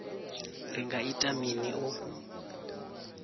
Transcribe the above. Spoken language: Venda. ri nga ita mini u